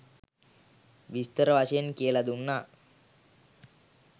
විස්තර වශයෙන් කියල දුන්නා.